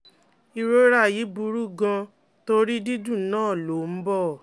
Ìrora yìí burú gan-an torí dídùn náà lọ ó ń bọ̀